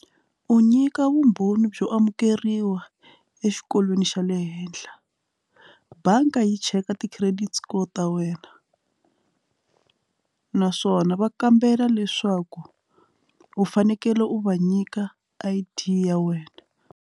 U nyika vumbhoni byo amukeriwa exikolweni xa le henhla bangi yi cheka ti-credit score ta wena naswona va kambela leswaku u fanekele u va nyika I_D ya wena.